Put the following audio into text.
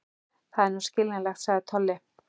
Það er nú skiljanlegt, sagði Tolli.